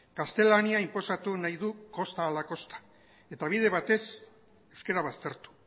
gaztelania inposatu nahi du kosta ala kosta eta bide batez euskara baztertu